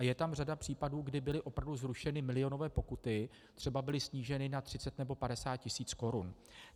A je tam řada případů, kdy byly opravdu zrušeny milionové pokuty, třeba byly sníženy na 30 nebo 50 tisíc korun.